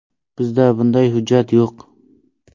Bizda bunday hujjat yo‘q.